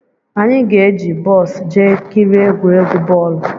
Anyị ga-eji bọs jee kirie egwuregwu bọọlụ